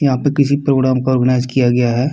यहां पे किसी प्रोग्राम को ऑर्गनाइज किया गया है।